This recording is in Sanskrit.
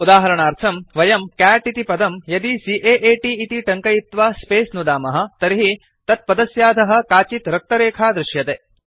उदाहरणार्थम् वयं कैट् इति पदं यदि C A A T इति टङ्कयित्वा स्पेस नुदामः तर्हि तत्पदस्याधः काचित् रक्तरेखा दृश्यते